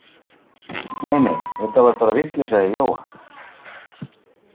Nei nei, þetta var bara vitleysa í Jóa.